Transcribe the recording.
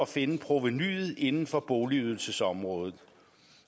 finde provenuet inden for boligydelsesområdet